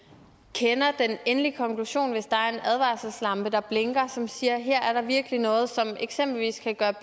kender den endelige konklusion hvis der er en advarselslampe der blinker og som siger her er der virkelig noget som eksempelvis kan gøre